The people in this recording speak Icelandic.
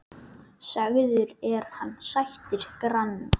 Sagður er hann sættir granna.